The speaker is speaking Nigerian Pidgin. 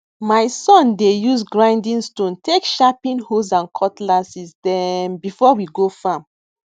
my son dey use grinding stone take sharpen hoes and cutlasses dem before we go farm